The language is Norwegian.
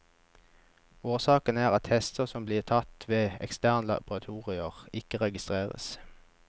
Årsaken er at tester som blir tatt ved eksterne laboratorier, ikke registreres.